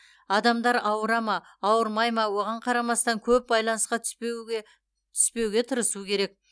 адамдар ауырады ма ауырмайды ма оған қарамастан көп байланысқа түспеуге тырысу керек